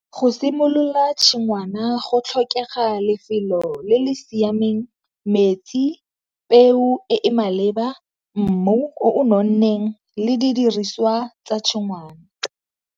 Go simolola tshingwana go tlhokega lefelo le le siameng, metsi, peo e e maleba, mmu o nonneng, le di diriswa tsa tshingwana.